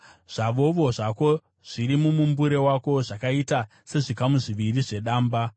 Zvavovo zvako zviri mumumbure wako zvakaita sezvikamu zviviri zvedamba.